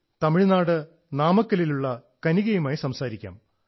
തമിഴ്നാട് നാമക്കലിലുള്ള കനിഗയുമായി സംസാരിക്കാം